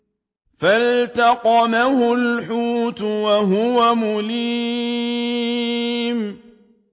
فَالْتَقَمَهُ الْحُوتُ وَهُوَ مُلِيمٌ